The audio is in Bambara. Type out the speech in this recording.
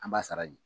An b'a sara de